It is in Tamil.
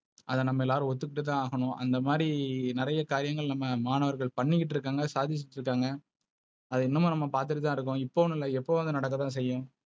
அது நம்ம எல்லாரும் ஒதுக்குடுத்தா ஆகணும். அந்த மாதிரி நிறைய காரியங்கள் நம்ம மாணவர்கள் பண்ணிட்டு இருக்காங்க. சாதிச்சிட்டு இருகாங்க. அத இன்னுமு நம்ப பாத்துட்டுதா இருக்கோம். இப்பொன்னு இல்ல எப்பவோம் வந்து நடக்க தான் செய்யும்.